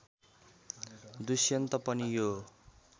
दुष्यन्त पनि यो